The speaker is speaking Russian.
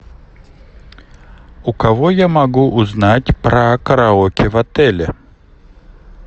у кого я могу узнать про караоке в отеле